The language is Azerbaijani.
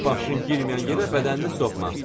Başın girməyən yerə bədənini soxma.